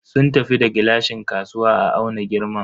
Sun tafi da gilashin kasuwa a auna girman.